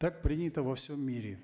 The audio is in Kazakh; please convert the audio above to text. так принято во всем мире